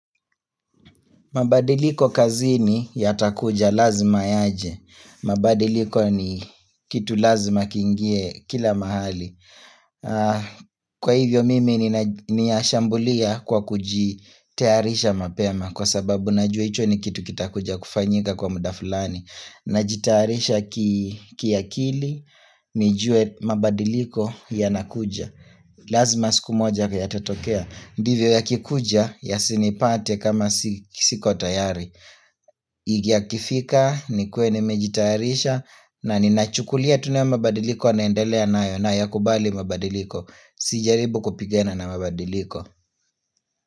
Mabadiliko kazini ya takuja lazima yaje. Mabadiliko ni kitu lazima kiingie kila mahali. Kwa hivyo mimi niyashambulia kwa kujitayarisha mapema kwa sababu najue hicho ni kitu kitakuja kufanyika kwa muda fulani. Najitayarisha kiakili nijue mabadiliko ya nakuja Lazima siku moja yatatokea ndiyo yakikuja ya sinipate kama siko tayari Yakifika nikuwe nimejitayarisha na ninachukulia tena mabadiliko naendelea nayo na ya kubali mabadiliko Sijaribu kupigana na mabadiliko.